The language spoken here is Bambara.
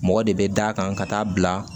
Mɔgɔ de bɛ da kan ka taa bila